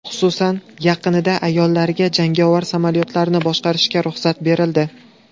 Xususan, yaqinda ayollarga jangovar samolyotlarni boshqarishga ruxsat berildi.